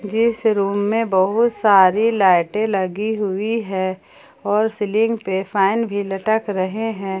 जिस रूम में बहुत सारी लाइटे लगी हुई है और सीलिंग पर फैन भी लटक रहे हैं।